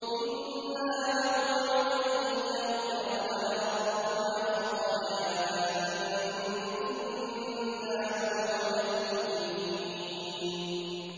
إِنَّا نَطْمَعُ أَن يَغْفِرَ لَنَا رَبُّنَا خَطَايَانَا أَن كُنَّا أَوَّلَ الْمُؤْمِنِينَ